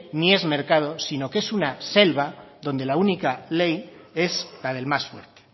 ni es mercado sino que es una selva donde la única ley es la del más fuerte